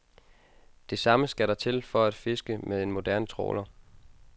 Det samme skal der til for at fiske med en moderne trawler.